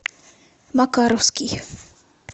макаровский